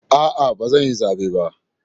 A'a, ba zan yi zabe ba.